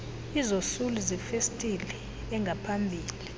izosuli zefesitile engaphambili